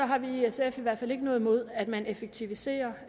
har vi i sf i hvert fald ikke noget imod at man effektiviserer